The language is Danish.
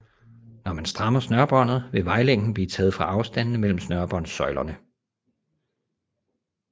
Når man strammer snørrebåndet vil vejlængden blive taget fra afstandene mellem snørebåndsøjerne